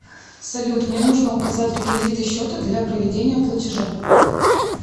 салют мне нужно указать реквизиты счета для проведения платежа